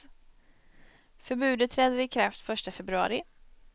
Förbudet träder i kraft första februari.